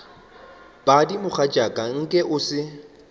padi mogatšaka nke o se